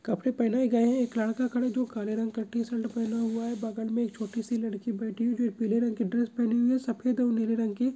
कपड़े पहनाए गए हैं एक लड़का खड़ा है जो काले रंग का टी-शर्ट पहना हुआ है बगल में एक छोटी सी लड़की बैठी हुई है जो पीले रंग की ड्रेस पहनी हुई है सफ़ेद और नीले रंग की --